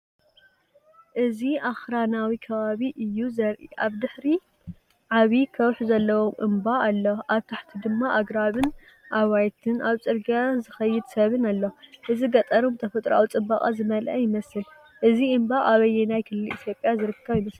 እዚ ኣኽራናዊ ከባቢ እዩ ዘርኢ። ኣብ ድሕሪት ዓቢ ከውሒ ዘለዎ እምባ ኣሎ፣ ኣብ ታሕቲ ድማ ኣግራብን ኣባይትን ኣብ ጽርግያ ዝኸይድ ሰብን ኣሎ። እዚ ገጠርን ብተፈጥሮኣዊ ጽባቐ ዝመልአ ይመስል። እዚ እምባ ኣብ ኣየናይ ክልል ኢትዮጵያ ዝርከብ ይመስለኩም?